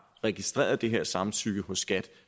registreret det her samtykke hos skat